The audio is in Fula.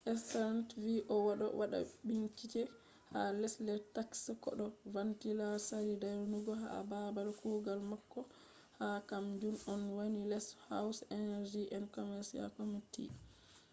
stearns vi o do wada binchike ha lesde taxes ko do vanlita sari dayugo ha babal kugal mako ha ,kam jun on wani les house energy and commerce committee